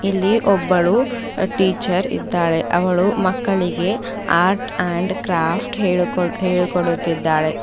ಎಲ್ಲಿ ಒಬ್ಬಳು ಟೀಚರ್ ಇದ್ದಾಳೆ ಅವಳು ಮಕ್ಕಳಿಗೆ ಆರ್ಟ್ ಅಂಡ್ ಕ್ರಾಫ್ಟ್ ಹೇಳುಕೊಡ್ ಹೇಳುಕೊಡುತ್ತಿದ್ದಾಳೆ.